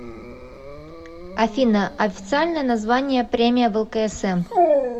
афина официальное название премия влксм